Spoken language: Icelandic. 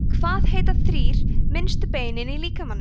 hvað heita þrír minnstu beinin í líkamanum